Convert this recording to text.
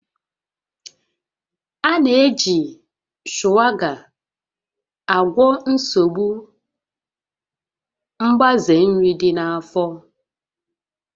A na-eji Shuwaka agwọ nsogbu mgbaze nri dị na-afọ